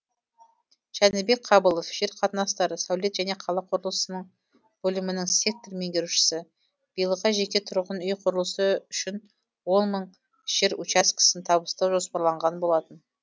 жәнібек қабылов жер қатынастары сәулет және қала құрылысының бөлімінің сектор меңгерушісі биылға жеке тұрғын үй құрылысы үшін он мың жер учаскесін табыстау жоспарланған болатын